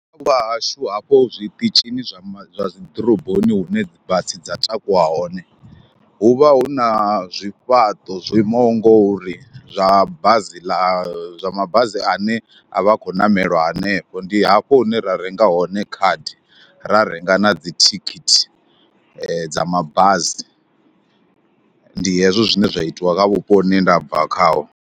Vhahashu hafho zwiṱitshini zwa ma, dzi ḓoroboni hune dzi bazi dza takuwa hone, hu vha hu na zwifhaṱo zwo imaho ngori zwa bazi ḽa zwa mabasi ane a vha khou ṋamelwa hanefho, ndi hafho hune ra renga hone khadi ra renga na dzithikhithi dza mabasi. Ndi hezwo zwine zwa itiwa kha vhupo hune nda bva khaho.